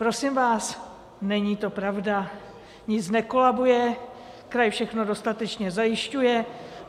Prosím vás, není to pravda, nic nekolabuje, kraj všechno dostatečně zajišťuje.